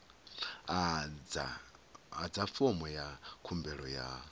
adza fomo ya khumbelo ya